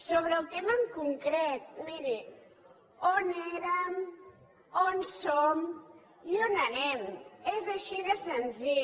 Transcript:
sobre el tema en concret miri on érem on som i on anem és així de senzill